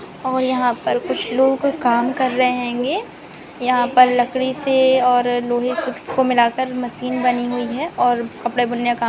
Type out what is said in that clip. --और यहाँ पर कुछ लोग काम कर रहे हैंगे यहाँ पर लकड़ी से और लोहे से इसको मिलाकर मशीन बनी हुई है और कपड़े बुनने का--